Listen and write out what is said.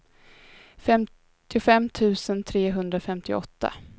femtiofem tusen trehundrafemtioåtta